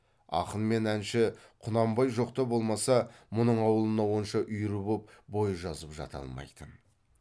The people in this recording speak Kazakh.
ақын мен әнші құнанбай жоқта болмаса мұның аулына онша үйір боп бой жазып жата алмайтын